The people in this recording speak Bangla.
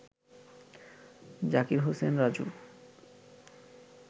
জাকির হোসেন রাজুর